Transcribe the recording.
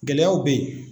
Gɛlɛyaw bɛ yen